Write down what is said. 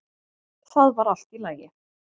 Það var allt í lagi.